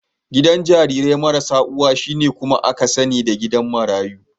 Gidan jarirai marasa uwa, shine kuma aka sani da gidan marayu.